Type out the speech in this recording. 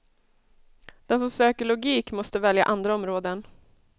Den som söker logik måste välja andra områden.